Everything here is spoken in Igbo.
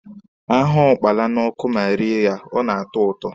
A hụọ ụkpala n'ọkụ ma rie ya, ọ na-atọ ụtọ.